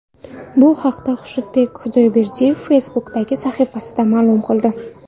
Bu haqda Xushnudbek Xudoyberdiyev Facebook’dagi sahifasida ma’lum qildi .